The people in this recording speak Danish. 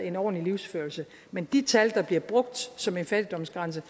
en ordentlig livsførelse men de tal der bliver brugt som en fattigdomsgrænse